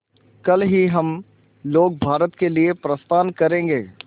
कल ही हम लोग भारत के लिए प्रस्थान करें